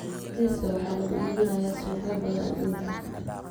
Bariiska waxaa lagu iibinayaa suuqyo badan adduunka.